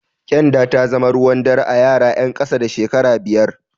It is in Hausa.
Ƙyanda ta zama ruwan dare a yara ƴan ƙasa da shekara biyar.